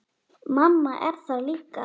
Mamma er þar líka.